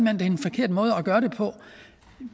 er en forkert måde at gøre det på